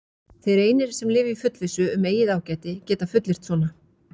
Þeir einir, sem lifa í fullvissu um eigið ágæti, geta fullyrt svona.